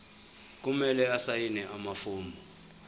kumele asayine amafomu